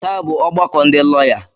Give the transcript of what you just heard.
Taa bụ ọgbakọ ndị lọya.